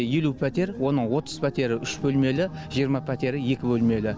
елу пәтер оның отыз пәтері үш бөлмелі жиырма пәтері екі бөлмелі